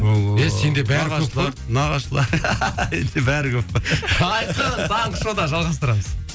бәрі көп қой айқын таңғы шоуда жалғастырамыз